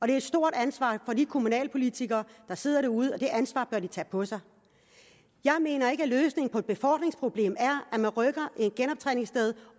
det er et stort ansvar for de kommunalpolitikere der sidder derude og det ansvar bør de tage på sig jeg mener ikke at løsningen på et befordringsproblem er at man rykker et genoptræningssted